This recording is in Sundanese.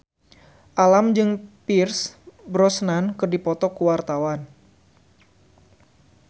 Alam jeung Pierce Brosnan keur dipoto ku wartawan